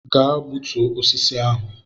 Gaa gbutuo osisi ahụ!